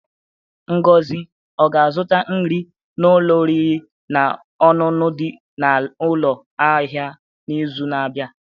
Ngozi ọ ga-azụta nri n'ụlọ oriri na ọṅụṅụ di na ụlọ ahịa n'izu na-abịa?